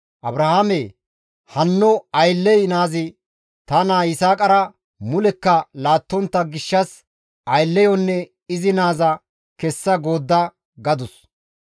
Abrahaame, «Hanno aylley naazi ta naa Yisaaqara mulekka laattontta gishshas aylleyonne izi naaza kessa goodda» gadus.